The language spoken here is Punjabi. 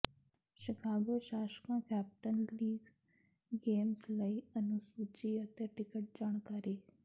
ਸ਼ਿਕਾਗੋ ਸ਼ਾਸ਼ਕਾਂ ਕੈਪਟਸ ਲੀਗ ਗੇਮਸ ਲਈ ਅਨੁਸੂਚੀ ਅਤੇ ਟਿਕਟ ਜਾਣਕਾਰੀ